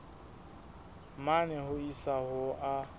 mane ho isa ho a